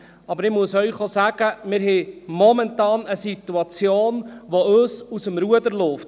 Ich muss Ihnen aber sagen, dass wir momentan eine Situation haben, die uns aus dem Ruder läuft.